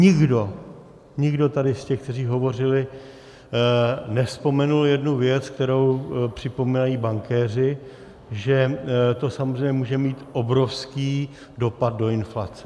Nikdo tady z těch, kteří hovořili, nevzpomenul jednu věc, kterou připomínají bankéři, že to samozřejmě může mít obrovský dopad do inflace.